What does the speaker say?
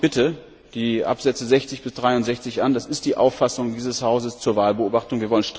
Schauen Sie sich bitte die Ziffern 60 bis 63 an Das ist die Auffassung dieses Hauses zur Wahlbeobachtung.